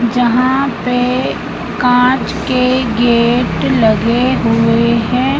यहां पे कांच के गेट लगे हुए हैं।